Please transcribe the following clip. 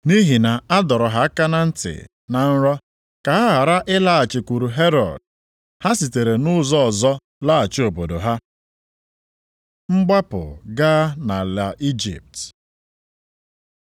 Nʼihi na a dọrọ ha aka na ntị na nrọ ka ha ghara ịlaghachikwuru Herọd, ha sitere nʼụzọ ọzọ laghachi obodo ha. Mgbapụ gaa nʼala Ijipt